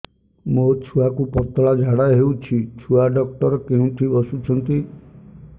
ମୋ ଛୁଆକୁ ପତଳା ଝାଡ଼ା ହେଉଛି ଛୁଆ ଡକ୍ଟର କେଉଁଠି ବସୁଛନ୍ତି